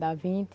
Dá vinte.